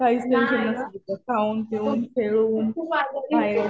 काहीच टेंशन नसतं तिचं. खाऊन, पिऊन, खेळून बाहेर